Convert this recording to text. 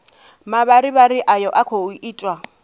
mavharivhari ayo a khou itwa